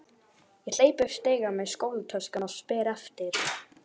Ég hleyp upp stigann með skólatöskuna og spyr eftir